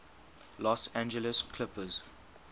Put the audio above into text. los angeles clippers